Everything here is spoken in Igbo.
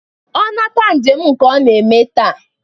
Ọ nata njem nke ọ ga-eme taa.